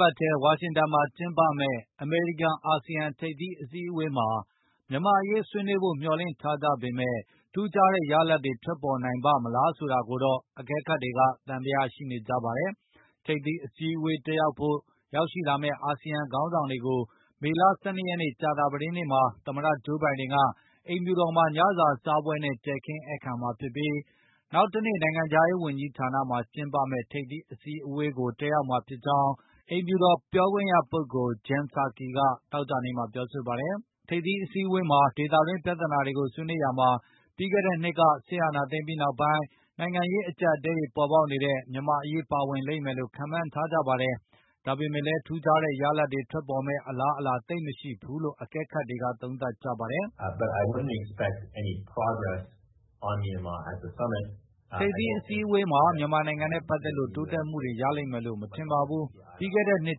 ပတ်ထဲ ဝါရှင်တန် ဒီစီမှာ ကျင်းပမယ့် အမေရိကန်၊ အာဆီယံ ထိပ်သီး အစည်းအဝေးမှာ မြန်မာ့အရေး ဆွေးနွေးဖို့ မျှော်လင့်ထားကြပေမဲ့ ထူးခြားတဲ့ ရလဒ်တွေ ထွက်ပေါ်နိုင်ပါ့မလား ဆိုတာကိုတော့ အကဲခတ်တွေ သံသယ ရှိနေကြပါတယ်။ ထိပ်သီးအစည်းအဝေး တက်ရောက်ဖို့ ရောက်ရှိလာမယ့် အာဆီယံ ခေါင်းဆောင်တွေကို မေလ ၁၂ ရက်နေ့ ကြာသပတေးနေ့မှာ သမ္မတဂျိုးဘိုင်ဒင်က အိမ်ဖြူတော်မှာ ညစာစားပွဲနဲ့ တည်ခင်းဧည့်ခံမှာဖြစ်ပြီး၊ နောက်တနေ့ နိုင်ငံခြားရေးဝန်ကြီးဌာနမှာ ကျင်းပမယ့် ထိပ်သီး အစည်းအဝေးကိုလည်း တက်ရောက်မှာဖြစ်ကြောင်း အိမ်ဖြူတော်ပြောခွင့်ရပုဂ္ဂိုလ် Jen Psaki က သောကြာနေ့မှာပြောဆိုပါတယ်။ ထိပ်သီးအစည်းအဝေးအတွင်း ဒေသတွင်းပြဿနာတွေကို ဆွေးနွေးရာမှာ ပြီးခဲ့တဲ့နှစ်က စစ်အာဏာသိမ်းပြီးနောက်ပိုင်း နိုင်ငံရေး အကျပ်အတည်းတွေ ပေါ်ပေါက်နေတဲ့ မြန်မာ့အရေး ပါဝင်လိမ့်မယ်လို့လည်း ခန့်မှန်းထားကြပါတယ်။ ဒါပေမဲ့လည်း ထူးခြားတဲ့ ရလဒ်တွေ ထွက်ပေါ်မယ့် အလားအလာ သိပ်မရှိဘူးလို့ အကဲခတ်တွေက သုံးသပ်ကြပါတယ်။ “ထိပ်သီးအစည်းအဝေးမှာ မြန်မာနိုင်ငံနဲ့ ပတ်သက်လို့ တိုးတက်မှုတွေ ရလိမ့်မယ်လို့ မထင်ပါဘူး။ ပြီးခဲ့တဲ့နှစ်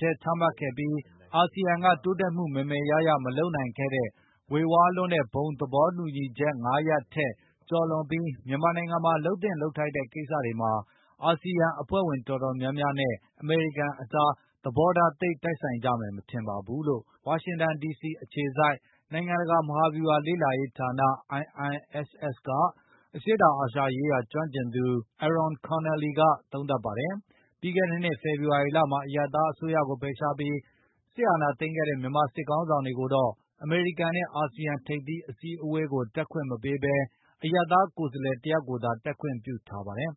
ထဲ ချမှတ်ခဲ့ပြီး၊ အာဆီယံက တိုးတက်မှု မယ်မယ်ရရ မလုပ်နိုင်ခဲ့တဲ့ ဝေဝါးလွန်းတဲ့ ဘုံသဘောတူညီချက် ၅ ရပ်ထက် ကျော်လွန်ပြီး မြန်မာနိုင်ငံမှာ လုပ်သင့်လုပ်ထိုက်တဲ့ ကိစ္စတွေမှာ အာဆီယံ အဖွဲ့ဝင် တော်တော်များများနဲ့ အမေရိကန်ကြား သဘောထား သိပ်တိုက်ဆိုင်ကြမယ် မထင်ပါဘူး။” လို့ ဝါရှင်တန် ဒီစီအခြေစိုက် နိုင်ငံတကာ မဟာဗျူဟာလေ့လာရေးဌာန IISS က အရှေ့တောင်အာရှရေးရာ ကျွမ်းကျင်သူ Arron Connelly က သုံးသပ်ပါတယ်။ ပြီးခဲ့တဲ့နှစ် ဖေဖော်ဝါရီလမှာ အရပ်သား အစိုးရကို ဖယ်ရှားပြီး စစ်အာဏာသိမ်းခဲ့တဲ့ မြန်မာစစ်ခေါင်းဆောင်တွေကိုတော့ အမေရိကန်နဲ့ အာဆီယံ ထိပ်သီး အစည်းအဝေးကို တက်ခွင့်မပေးဘဲ၊ အရပ်သားကိုယ်စားလှယ် တယောက်ယောက်ကိုသာ တက်ခွင့်ပြုထားပါတယ်။